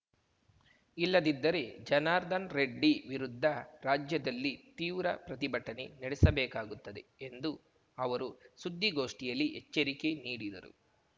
ಇಲ್ಲದಿದ್ದರೆ ಜನಾರ್ದನ್ ರೆಡ್ಡಿ ವಿರುದ್ಧ ರಾಜ್ಯದಲ್ಲಿ ತೀವ್ರ ಪ್ರತಿಭಟನೆ ನಡೆಸಬೇಕಾಗುತ್ತದೆ ಎಂದು ಅವರು ಸುದ್ದಿಗೋಷ್ಠಿಯಲ್ಲಿ ಎಚ್ಚರಿಕೆ ನೀಡಿದರು